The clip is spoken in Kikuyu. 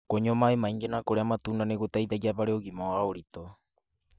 Kũnyua maĩ maingĩ na kũrĩa matunda nĩ gũteithagia harĩ ũgima wa ũritũ.